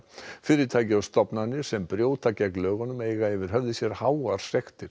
fyrirtæki og stofnanir sem brjóta gegn lögunum eiga yfir höfði sér háar sektir